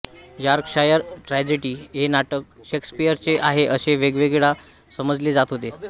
Yorkshire tragedy हे नाटक शेक्सपियरचे आहे असे एकेकाळी समजले जात होते